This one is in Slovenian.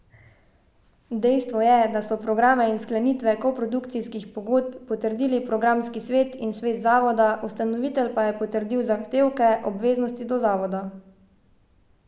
Dejstvo je, da so programe in sklenitve koprodukcijskih pogodb potrdili programski svet in svet zavoda, ustanovitelj pa je potrdil zahtevke, obveznosti do zavoda.